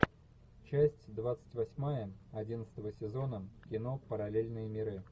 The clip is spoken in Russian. часть двадцать восьмая одиннадцатого сезона кино параллельные миры